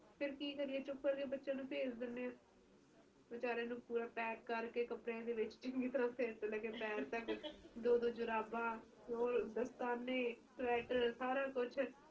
ਹਾਂਜੀ ਹੁਣ ਤਾ ਸਿਰਫ ਨਾਮ ਰਹਿ ਗਿਆ ਦਿੱਲੀ ਦੀ ਸਰਦੀ ਦਾ ਉਸ ਤਰਾਂ ਦੀ ਸਰਦੀ ਨਹੀਂ ਰਹੀ ਹੁਣ ਤਾ ਠੀਕ ਹੈ ਤੁਸੀ ਵਿਆਹ ਚ ਆਓਗੇ ਤਾ ਦੇਖਣਾ ਕੁੜੀਆਂ ਨੇ ਕਿ ਕੱਪੜੇ ਪਾਏ ਆ ਤੇ ਕਿ ਨਹੀਂ ਪਤਾ ਨੀ ਚਲਦਾ ਹੁਣ ਉਹ ਵਾਲਾ ਹਿਸਾਬ ਨਹੀਂ ਰਹਿ ਗਿਆ